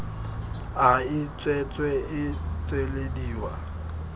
a e tswetswe e tswelediwa